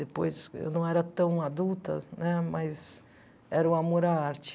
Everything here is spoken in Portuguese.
Depois, eu não era tão adulta, né mas era o amor à arte.